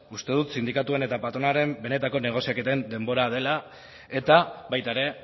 uste dut sindikatuen eta patronalen benetako negoziaketen denbora dela eta baita ere